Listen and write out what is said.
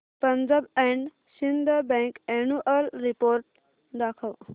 Punjab and Sind bank annual report दाखव